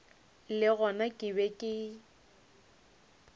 le gona ke be ke